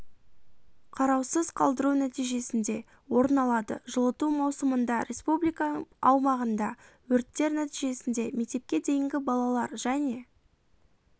қараусыз қалдыру нәтижесінде орын алады жылыту маусымында республика аумағында өрттер нәтижесінде мектепке дейінгі балалар және